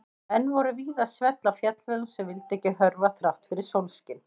Enn voru víða svell á fjallvegum sem vildu ekki hörfa þrátt fyrir sólskin.